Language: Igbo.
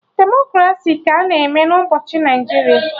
Demokraci ka a na-eme na obodo Naijiria